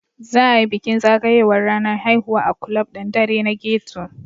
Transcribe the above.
Za a yi bukin zagayowar ranar haihuwa a ƙulab ɗin ɗare na ghetto.